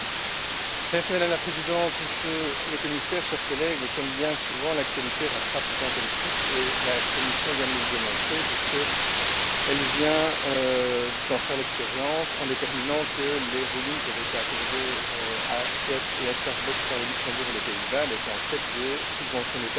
Madame la Présidente, Monsieur le Commissaire, chers collègues, comme bien souvent, l'actualité rattrape le temps politique, et la Commission vient de nous le démontrer, puisqu'elle vient d'en faire l'expérience en déterminant que les rescrits fiscaux qui avaient été accordés à Fiat et à Starbucks par le Luxembourg et les Pays Bas étaient en fait des subventions d'État déguisées.